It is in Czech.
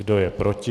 Kdo je proti?